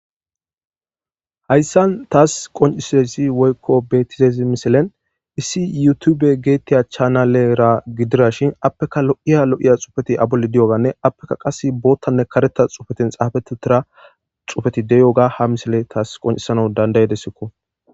Hayssan taas qoncisiza woykko betizaysi issi yutube geetetiya chanalera gidishin appeka lo'iya lo'iya xuufeti de'yoganne appe qasse boothanne kareththa xuufeti xaafetidi de'iyoga ha misiley taas qoncisanaw danda'ideesiko.